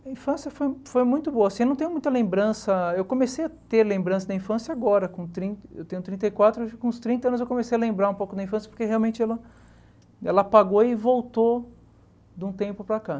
A infância foi foi muito boa assim, eu não tenho muita lembrança, eu comecei a ter lembrança da infância agora com trin, eu tenho trinta e quatro, acho com uns trinta anos eu comecei a lembrar um pouco da infância, porque realmente ela ela apagou e voltou de um tempo para cá.